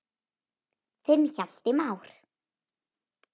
Þinn Hjalti Már.